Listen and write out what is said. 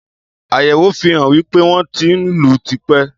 Àyèwò fihàn wípé, wo ti ń lù tipe